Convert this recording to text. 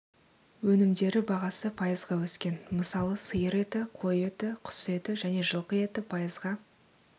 өнімдері бағасы пайызға өскен мысалы сиыр еті қой еті құс еті және жылқы еті пайызға